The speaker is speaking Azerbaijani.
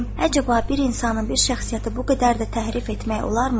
Həcəbə, bir insanın bir şəxsiyyəti bu qədər də təhrif etmək olarmı?